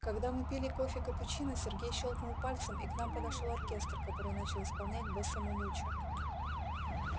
когда мы пили кофе капучино сергей щёлкнул пальцем и к нам подошёл оркестр который начал исполнять бесса ме мучо